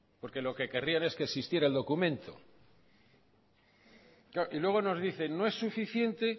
porque lo que querrían es que existiera el documento claro y luego nos dicen no es suficiente